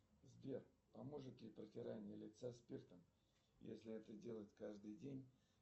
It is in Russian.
сбер поможет ли протирание лица спиртом если это делать каждый день